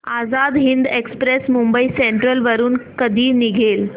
Azad Hind express Mumbai central वरून कधी निघेल